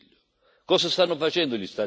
Cosa sta facendo il Consiglio?